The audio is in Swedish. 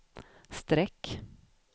streck